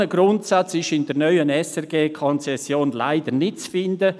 Ein solcher Grundsatz ist in der neuen SRG-Konzession leider nicht zu finden.